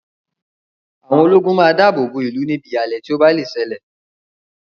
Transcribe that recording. Àwọn ológun máa da àbọ̀ bọ̀ ó ìlú níbi ìhàlẹ̀ tí ó bá lè ṣe lè